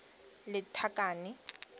lethakane